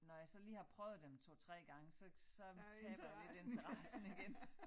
Når jeg så lige har prøvet dem 2 3 gange så så taber jeg lidt interessen igen